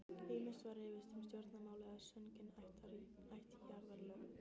Ýmist var rifist um stjórnmál eða sungin ættjarðarlög.